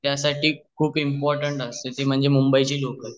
त्यासाठी खूप इंपोर्टेंट असते ती म्हणजे मुंबई ची लोकाल